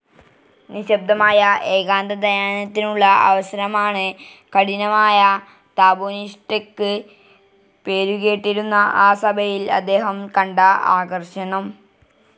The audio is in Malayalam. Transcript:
നിശ്ശബ്ദമായ ഏകാന്തധ്യാനത്തിനുള്ള അവസരമാണ്, കഠിനമായ തപോനിഷ്ടക്ക് പേരുകേട്ടിരുന്ന ആ സഭയിൽ അദ്ദേഹം കണ്ട ആകർഷണം.